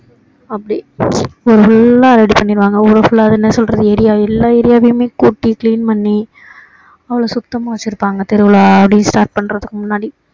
அப்படி full லா ready பண்ணிடுவாங்க ஊரு full லா அது என்ன சொல்றது area எல்லா area யாவையுமே கூட்டி clean பண்ணி அவ்வளோ சுத்தமா வச்சி இருப்பாங்க திருவிழா start பண்றதுக்கு முன்னாடி